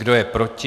Kdo je proti?